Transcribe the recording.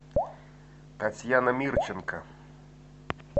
татьяна мирченко